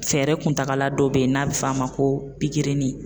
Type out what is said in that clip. Fɛɛrɛ kuntagala dɔ bɛ ye n'a bɛ f'a ma ko pikirinin.